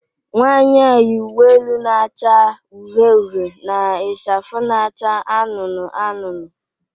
Nwanyị a yi uwe elu na-acha uhie uhie na ichafu na-acha anụnụ anụnụ